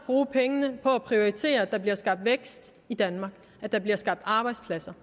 bruge pengene på at prioritere at der bliver skabt vækst i danmark og at der bliver skabt arbejdspladser